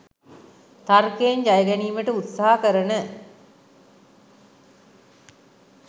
තර්කයෙන් ජයගැනීමට උත්සහ කරන